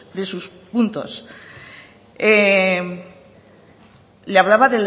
de sus puntos le hablaba